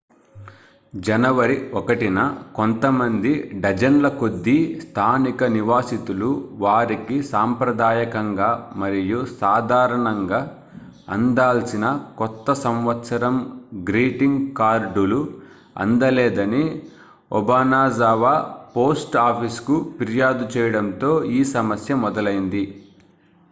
జనవరి 1న కొంతమంది డజన్ల కొద్దీ స్థానిక నివాసితులు వారికి సాంప్రదాయకంగా మరియు సాధారంణగా అందాల్సిన కొత్త సంవత్సరం గ్రీటింగ్ కార్డులు అందలేదని obanazawa post officeకు ఫిర్యాదు చేయడంతో ఈ సమస్య మొదలైంది